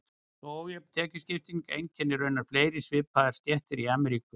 Svo ójöfn tekjuskipting einkennir raunar fleiri svipaðar stéttir í Ameríku.